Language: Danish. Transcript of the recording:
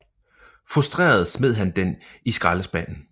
Frustreret smed han den i skraldespanden